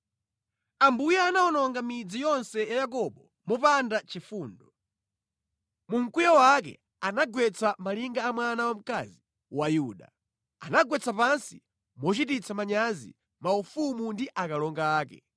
Ambuye anawononga midzi yonse ya Yakobo mopanda chifundo; mu mkwiyo wake anagwetsa malinga a mwana wamkazi wa Yuda. Anagwetsa pansi mochititsa manyazi maufumu ndi akalonga ake.